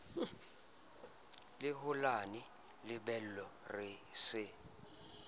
le holane lebelo re sa